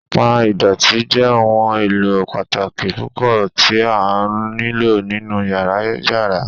Pan idọti jẹ ohun elo pataki pupọ ti o nilo ninu yara yara